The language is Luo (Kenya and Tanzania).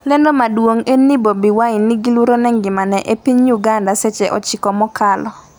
lendo maduong' en ni Bobi Wine 'ni gi luoro ne ngimane' e piny Uganda seche 9 mokalo